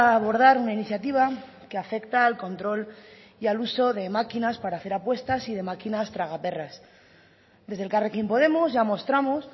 abordar una iniciativa que afecta al control y al uso de máquinas para hacer apuestas y de máquinas tragaperras desde elkarrekin podemos ya mostramos